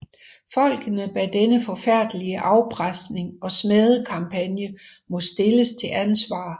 Folkene bag denne forfærdelige afpresning og smædekampagne må stilles til ansvar